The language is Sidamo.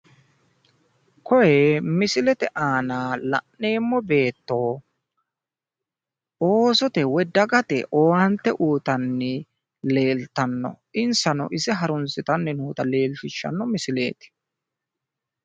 Koye misilete aana la'neemmo beetto oosote woy dagate owaante uyiitanni leeltanno insano ise harunsitaani noota leellishshanno misileeti.